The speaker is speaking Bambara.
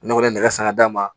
Ne kɔni ye nɛgɛ san ka d'a ma